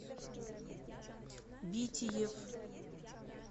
битиев